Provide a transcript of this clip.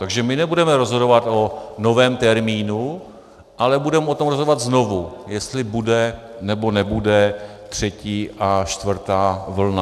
Takže my nebudeme rozhodovat o novém termínu, ale budeme o tom rozhodovat znovu, jestli bude, nebo nebude třetí a čtvrtá vlna.